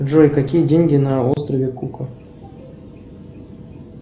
джой какие деньги на острове кука